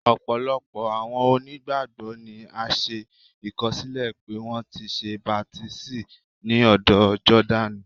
Ọpọlọpọ awọn onígbágbọ ni a ṣe ìkọsilẹ pe wọn ti ṣe baptisi ni ódò Jordaní.